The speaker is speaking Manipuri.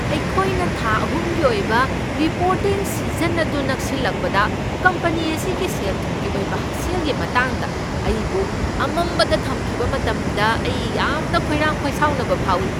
ꯑꯩꯈꯣꯏꯅ ꯊꯥ ꯑꯍꯨꯝꯒꯤ ꯑꯣꯏꯕ ꯔꯤꯄꯣꯔꯇꯤꯡ ꯁꯤꯖꯟ ꯑꯗꯨ ꯅꯛꯁꯤꯜꯂꯛꯄꯗ ꯀꯝꯄꯅꯤ ꯑꯁꯤꯒꯤ ꯁꯦꯜ ꯊꯨꯝꯒꯤ ꯑꯣꯏꯕ ꯍꯛꯁꯦꯜꯒꯤ ꯃꯇꯥꯡꯗ ꯑꯩꯕꯨ ꯑꯃꯝꯕꯗ ꯊꯝꯈꯤꯕ ꯃꯇꯝꯗ ꯑꯩ ꯌꯥꯝꯅ ꯈꯣꯏꯔꯥꯡ ꯈꯣꯏꯁꯥꯎꯅꯕ ꯐꯥꯎꯏ꯫